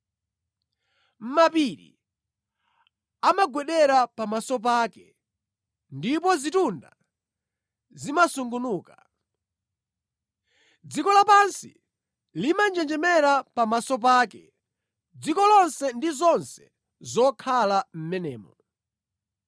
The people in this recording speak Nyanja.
Mapiri amagwedera pamaso pake ndipo zitunda zimasungunuka. Dziko lapansi limanjenjemera pamaso pake, dziko lonse ndi zonse zokhala mʼmenemo.